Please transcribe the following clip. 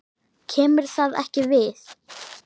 KEMUR ÞAÐ EKKI VIÐ!